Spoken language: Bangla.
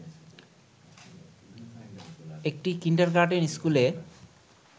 একটি কিন্ডারগার্টেন স্কুলে